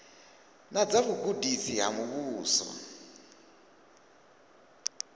na dza vhugudisi ha muvhuso